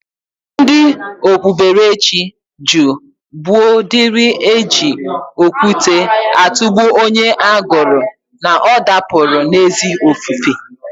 Ndi okpuberechi jụụ gboo diri eji okwute atụgbụ onye agụrụ na ọ dapụla n'ezi ofufe.